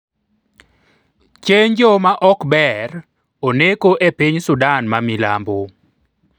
Chanjo ma ok ber oneko e piny Sudan ma milambo